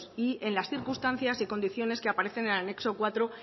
en las circunstancias y condiciones que aparecen en el anexo cuatro